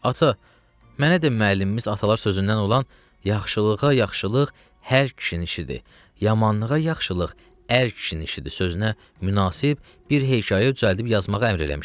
Ata, mənə də müəllimimiz atalar sözündən olan "Yaxşılığa yaxşılıq hər kişinin işidir, yamanlığa yaxşılıq ər kişinin işidir" sözünə münasib bir hekayə düzəldib yazmağı əmr eləmişdi.